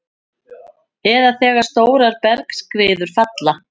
eða þegar stórar bergskriður falla.